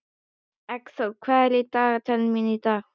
Eggþór, hvað er á dagatalinu mínu í dag?